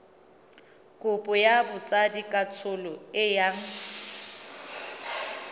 kopo ya botsadikatsholo e yang